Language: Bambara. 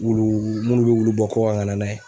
Wulu munnu be wulu bɔ kɔkan ka na n'a ye.